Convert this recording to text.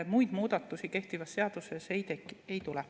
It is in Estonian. Muid muudatusi kehtivas seaduses ei tule.